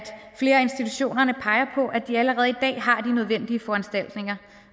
flere af institutionerne peger på at de allerede i dag har de nødvendige foranstaltninger